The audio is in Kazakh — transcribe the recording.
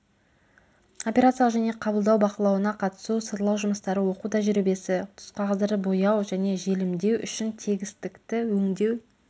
операциялық және қабылдау бақылауына қатысу сырлау жұмыстары оқу тәжірибесі түсқағаздарды бояу және желімдеу үшін тегістікті өңдеу